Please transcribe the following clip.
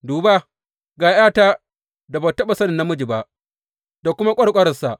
Duba, ga ’yata da ba tă taɓa sanin namiji ba da kuma ƙwarƙwaransa.